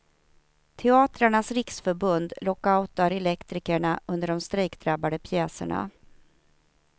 Teatrarnas riksförbund lockoutar elektrikerna under de strejkdrabbade pjäserna.